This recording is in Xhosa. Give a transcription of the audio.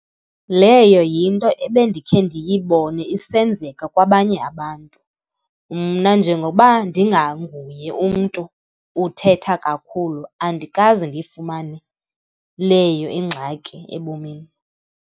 Leyo yinto ebendikhe ndiyibone isenzeka kwabanye abantu. Mna njengokuba ndinganguye umntu uthetha kakhulu, andikaze ndiyifumane leyo ingxaki ebomini.